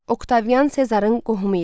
Oktavian Sezarın qohumu idi.